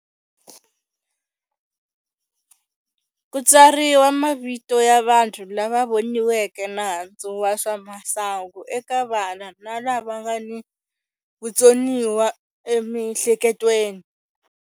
Ku tsariwa mavito ya vanhu lava voniweke nandzu wa swa masangu eka vana na lava nga ni vutsoniwa emihleketweni.